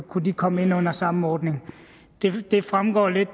kunne komme ind under samme ordning det fremgår lidt